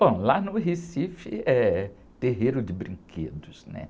Bom, lá no Recife é terreiro de brinquedos, né?